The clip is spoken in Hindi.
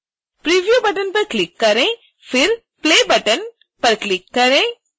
preview बटन पर क्लिक करें फिर play button बटन पर क्लिक करें